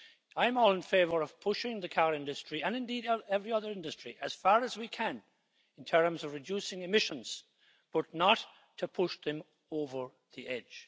I'm all in favour of pushing the car industry, and indeed every other industry, as far as we can in terms of reducing emissions, but not to push them over the edge.